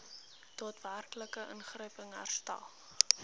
daadwerklike ingryping herstel